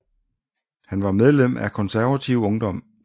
Han var medlem af Konservativ Ungdom